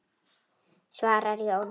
svarar Jón.